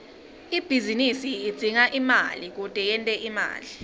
ibhizinisi idzinga imali kute yente imali